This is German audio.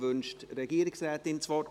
Wünscht die Regierungsrätin das Wort?